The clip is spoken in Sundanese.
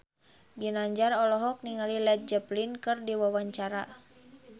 Ginanjar olohok ningali Led Zeppelin keur diwawancara